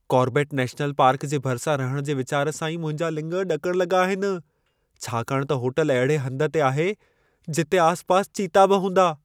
Corbett national park जे भरिसां रहण जे विचार सां ई मुंहिंजा लिङ ॾकण लॻा आहिनि। छाकाणि त होटल अहिड़े हंध ते आहे, जिते आसपास चीता बि हूंदा।